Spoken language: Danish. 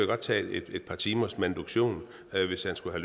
godt tage et par timers manuduktion hvis han skulle